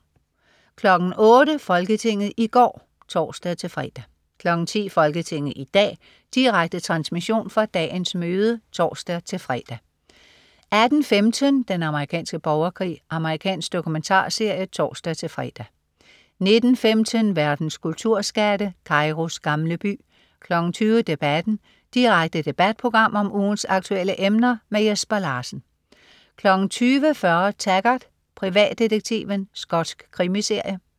08.00 Folketinget i går (tors-fre) 10.00 Folketinget i dag. Direkte transmission fra dagens møde (tors-fre) 18.15 Den amerikanske borgerkrig. Amerikansk dokumentarserie (tors-fre) 19.15 Verdens kulturskatte. "Kairos gamle by" 20.00 Debatten. Direkte debatprogram om ugens aktuelle emner. Jesper Larsen 20.40 Taggart: Privatdetektiven. Skotsk krimiserie